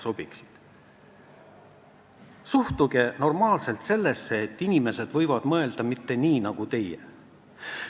Suhtuge normaalselt sellesse, et inimesed võivad mõelda teisiti, mitte nii nagu teie.